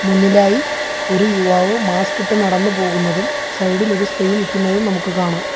മുന്നിലായി ഒരു യുവാവ് മാസ്കിട്ട് നടന്നു പോകുന്നതും സൈഡിലൊരു സ്ത്രീ നിക്കുന്നതും നമുക്ക് കാണാം.